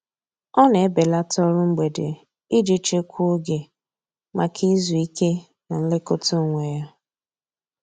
Ọ na-ebelata ọrụ mgbede iji chekwaa oge maka izu ike na nlekọta onwe ya.